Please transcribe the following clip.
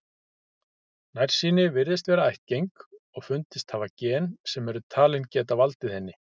Nærsýni virðist vera ættgeng og fundist hafa gen sem eru talin geta valdið henni.